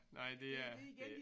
Nej det er det